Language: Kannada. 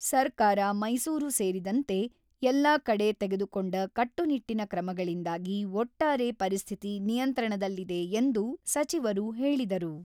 ಸರ್ಕಾರ ಮೈಸೂರು ಸೇರಿದಂತೆ ಎಲ್ಲಾ ಕಡೆ ತೆಗೆದುಕೊಂಡ ಕಟ್ಟುನಿಟ್ಟಿನ ಕ್ರಮಗಳಿಂದಾಗಿ ಒಟ್ಟಾರೆ ಪರಿಸ್ಥಿತಿ ನಿಯಂತ್ರಣದಲ್ಲಿದೆ ಎಂದು ಸಚಿವರು ಹೇಳಿದರು.